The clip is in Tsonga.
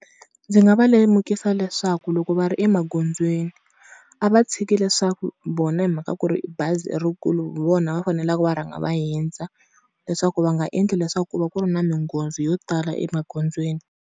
Ndzi nga va lemukisa leswaku loko va ri emagondzweni, a va tshiki leswaku vona hi mhaka ku ri bazi i rikulu hi vona va faneleke va rhanga va hundza, leswaku va nga endli leswaku ku va ku ri na minghozi yo tala emagondzweni.